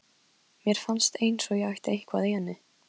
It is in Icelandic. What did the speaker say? Mér fannst eins og ég ætti eitthvað í henni.